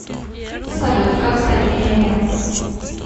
салют как стать миллионером